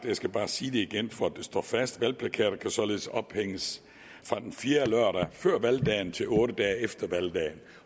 jeg skal bare sige det igen for at det står fast at valgplakater således kan ophænges fra den fjerde lørdag før valgdagen til otte dage efter valgdagen